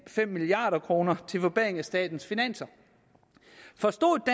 milliard kroner til forbedring af statens finanser forstod